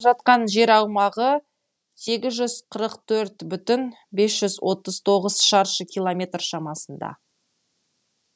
жатқан жер аумағы сегіз жүз қырық төрт бүтін бес жүз отыз тоғыз шаршы километр шамасында